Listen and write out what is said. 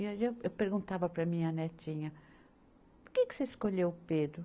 E aí eu, eu perguntava para a minha netinha, por que que você escolheu Pedro?